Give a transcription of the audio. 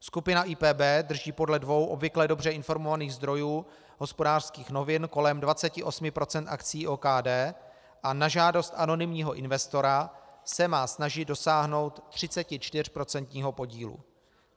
Skupina IPB drží podle dvou obvykle dobře informovaných zdrojů Hospodářských novin kolem 28 % akcií OKD a na žádost anonymního investora se má snažit dosáhnout 34% podílu.